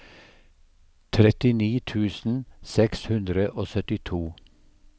trettini tusen seks hundre og syttito